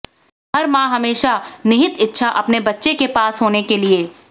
हर माँ हमेशा निहित इच्छा अपने बच्चे के पास होने के लिए